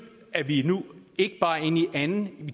er vi nu ikke bare inde i anden